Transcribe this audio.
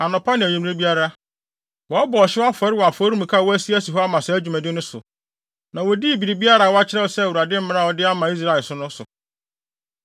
Anɔpa ne anwummere biara, wɔbɔ ɔhyew afɔre wɔ afɔremuka a wɔayi asi hɔ ama saa dwumadi no so. Na wodii biribiara a wɔakyerɛw sɛ Awurade mmara a ɔde ama Israel no so.